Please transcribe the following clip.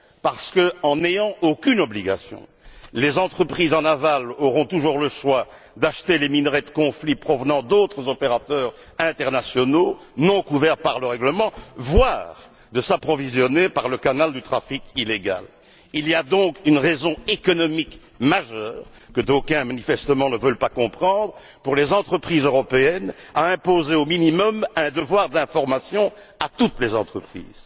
Parce qu'en n'ayant aucune obligation, les entreprises en aval auront toujours le choix d'acheter les minerais de conflits provenant d'autres opérateurs internationaux non couverts par le règlement, voire de s'approvisionner par le canal du trafic illégal. Il y a donc une raison économique majeure que d'aucuns, manifestement, ne veulent pas comprendre pour les entreprises européennes à imposer au minimum un devoir d'information à toutes les entreprises.